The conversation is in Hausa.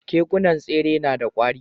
Kekunan tsere nada kwari